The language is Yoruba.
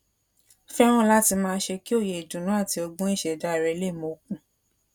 fẹràn láti máa ṣe kí òye ìdùnnú àti ọgbọn ìṣẹdá rẹ le mókun